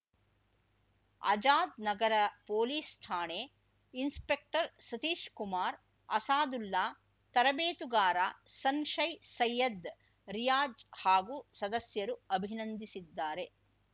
Azad Nagar police ಠಾಣೆ inspector Satish Kumar Asadullah ತರಬೇತುಗಾರ ಸನ್‌ಶೈ ಸೈಯದ್‌ ರಿಯಾಜ್‌ ಹಾಗೂ ಸದಸ್ಯರು ಅಭಿನಂದಿಸಿದ್ದಾರೆ